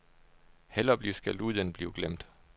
Hellere blive skældt ud end blive glemt.